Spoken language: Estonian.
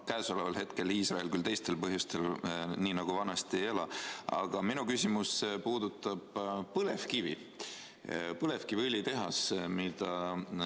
Käesoleval hetkel Iisrael – küll teistel põhjustel – nii nagu vanasti ei ela, aga minu küsimus puudutab põlevkivi, põlevkiviõlitehast.